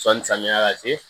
Sɔnni samiya ka se